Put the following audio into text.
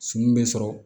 Sunu be sɔrɔ